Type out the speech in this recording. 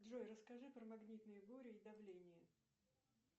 джой расскажи про магнитные бури и давление